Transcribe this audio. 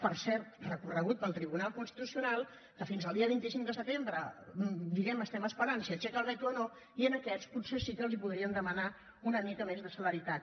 per cert recorregut pel tribunal constitucional que fins al dia vint cinc de setembre diguem ne estem esperant si aixeca el veto o no i a aquests potser sí que els podríem demanar una mica més de celeritat